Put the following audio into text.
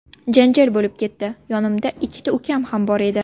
Janjal bo‘lib ketdi, yonimda ikkita ukam ham bor edi.